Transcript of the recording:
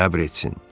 səbr etsin.